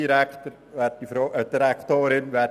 Dies hat mich Geld gekostet.